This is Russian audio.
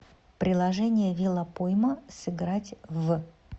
приложение велопойма сыграть в